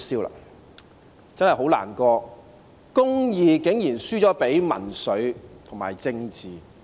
我真的很難過，公義竟然輸了給民粹和政治。